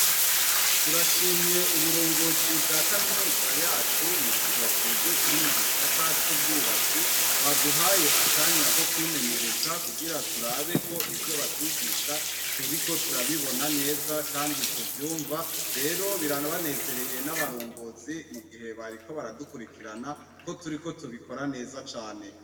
Turashimye uburongozi bwa kaminuza yacu mugihe twebwe turi mugisata cubwubatsi baduhaye akanya kokwimenyereza kugira turabe ko ivyo batwigisha turiko turabibona neza kandi tuvyumva rero birabanezereye nabarongozi mugihe bariko baradukurikirana koturiko tubikora neza cane